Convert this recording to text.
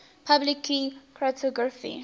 public key cryptography